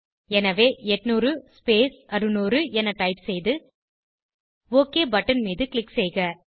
எனவே 800 ஸ்பேஸ் 600 என டைப் செய்து ஒக் பட்டன் மீது க்ளிக் செய்கிறேன்